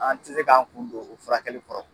An tɛ se k'an kun don o furakɛli kɔrɔ